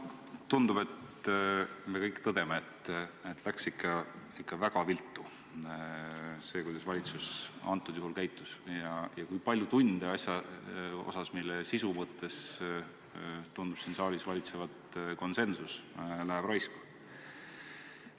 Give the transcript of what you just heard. Tundub, et me kõik tõdeme, et läks ikka väga viltu see, kuidas valitsus antud juhul käitus, ja kui palju tunde asja tõttu, mille sisu mõttes tundub siin saalis valitsevat konsensus, läheb raisku.